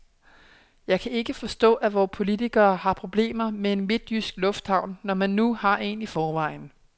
Jeg kan ikke forstå, at vore politikere har problemer med en midtjysk lufthavn, når man nu har en i forvejen.